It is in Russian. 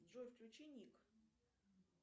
джой включи ник